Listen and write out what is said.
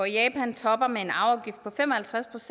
japan topper med en arveafgift på fem og halvtreds